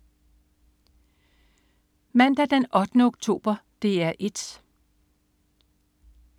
Mandag den 8. oktober - DR 1: